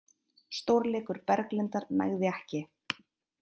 Stórleikur Berglindar nægði ekki